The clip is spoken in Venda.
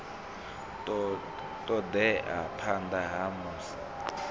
ṱo ḓea phanḓa ha musi